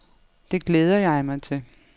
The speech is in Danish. Det glæder jeg mig til.